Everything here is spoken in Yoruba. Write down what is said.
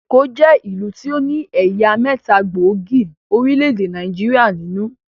Èkó jẹ́ ìlú tí ó ní ẹ̀yà mẹ́ta gbóògì orílẹ̀-èdè Nàìjíríà nínú